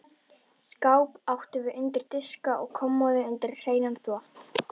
Skáp áttum við undir diska og kommóðu undir hreinan þvott.